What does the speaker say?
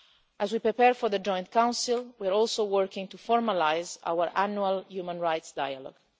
As we prepare for the Joint Council, we are also working to formalise our annual human rights dialogue.